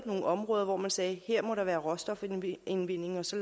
nogle områder hvor man sagde at her må der være råstofudvinding og så